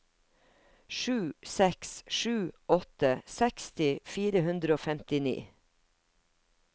sju seks sju åtte seksti fire hundre og femtini